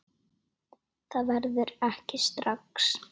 Það verður ekki strax